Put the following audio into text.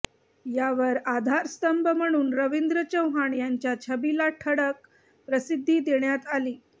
यावर आधारस्तंभ म्हणून रवींद्र चव्हाण यांच्या छबीला ठळक प्रसिद्धी देण्यात आली